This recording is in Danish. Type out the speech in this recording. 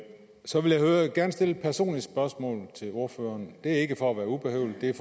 så vil jeg gerne stille et personligt spørgsmål til ordføreren det er ikke for at være ubehøvlet det er